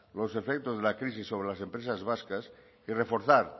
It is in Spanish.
los efectos de la crisis sobre las empresas vascas y reforzar